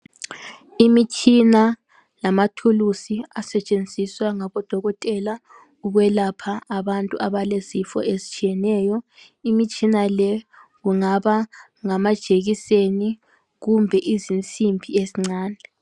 Imitshina lamathulusi asetshenziswa ngabodokotela ukwelapha abantu abalezifo ezitshiyeneyo. Imitshina le kungaba ngamajekiseni kumbe izinsimbi ezincane.